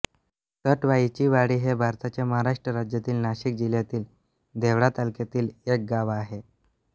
सटवाईचीवाडी हे भारताच्या महाराष्ट्र राज्यातील नाशिक जिल्ह्यातील देवळा तालुक्यातील एक गाव आहे